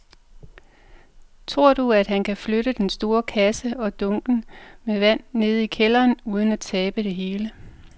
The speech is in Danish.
Tror du, at han kan flytte den store kasse og dunkene med vand ned i kælderen uden at tabe det hele?